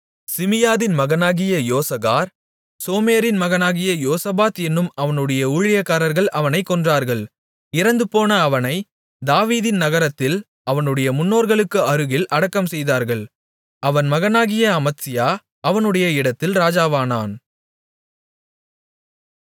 சிமியாதின் மகனாகிய யோசகார் சோமேரின் மகனாகிய யோசபாத் என்னும் அவனுடைய ஊழியக்காரர்கள் அவனைக் கொன்றார்கள் இறந்துபோன அவனைத் தாவீதின் நகரத்தில் அவனுடைய முன்னோர்களுக்கு அருகில் அடக்கம்செய்தார்கள் அவன் மகனாகிய அமத்சியா அவனுடைய இடத்தில் ராஜாவானான்